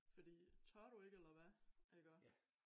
Fordi tør du ikke eller hvad iggå